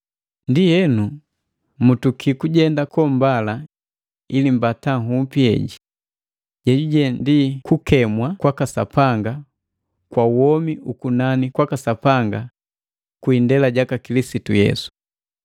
Ndienu, mutuki kujenda kombala ili mbata nhupi jeheji, jejuje ukemi waka Sapanga kwa womi ukunani kwaka Sapanga kwi indela jaka Kilisitu Yesu.